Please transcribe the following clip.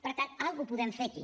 per tant alguna cosa podem fer aquí